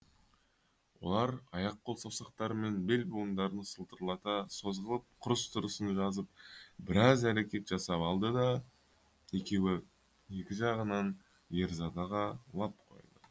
олар аяқ қол саусақтары мен белбуындарын сытырлата созғылап құрыс тырысын жазып біраз әрекет жасап алды да екеуі екі жағынан ерзадаға лап қойды